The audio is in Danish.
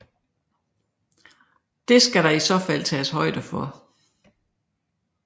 Det skal der i så fald tages højde for